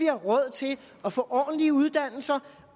har råd til at få ordentlige uddannelser